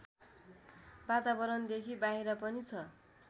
वातावरणदेखि बाहिर पनि छ